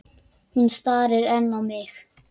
Hún starir enn á mig.